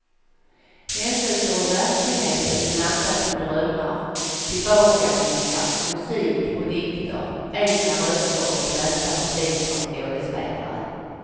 Händelser ur verkligheten blandas med drömmar, tillbakablickar, musik och dikter, egna röster och lästa repliker av skådespelare.